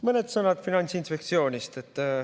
Mõned sõnad Finantsinspektsioonist.